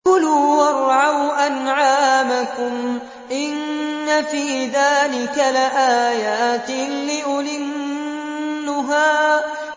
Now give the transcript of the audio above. كُلُوا وَارْعَوْا أَنْعَامَكُمْ ۗ إِنَّ فِي ذَٰلِكَ لَآيَاتٍ لِّأُولِي النُّهَىٰ